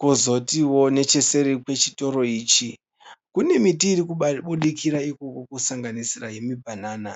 Kozotiwo necheseri kwechitoro ichi kune miti iri kubudikira ikoko kusanganisira yemibhanana.